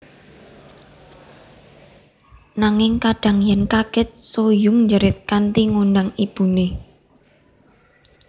Nanging kadhang yen kaget Soo Hyun njerit kanthi ngundang ibune